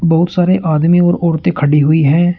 बहुत सारे आदमी और औरतें खड़ी हुई हैं।